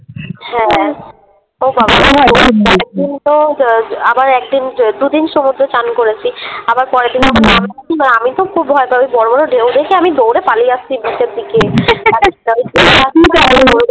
হ্যাঁ তো একদিন তো আ ব আবার একদিন ব দুদিন সমুদ্রে স্নান করেছি আবার পরের দিন যখন নামছি মানে আমি তো খুব ভয় পাই বড়ো বড়ো ঢেউ দেখে আমি দৌড়ে পালিয়ে আসছি Beach এর দিকে